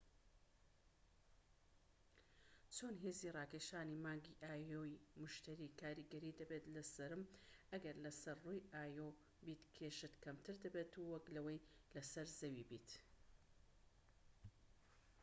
چۆن هێزی ڕاکێشانی مانگی ئایۆ ی موشتەری کاریگەری دەبێت لەسەرم؟ ئەگەر لەسەر ڕووی ئایۆ بیت، کێشت کەمتر دەبێت وەك لەوەی لەسەر زەوی بیت